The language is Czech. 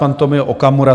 pan Tomio Okamura.